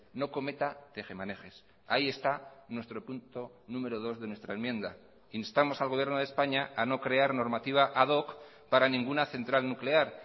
no cometa tejemanejes ahí está nuestro punto número dos de nuestra enmienda instamos al gobierno de españa a no crear normativa ad hoc para ninguna central nuclear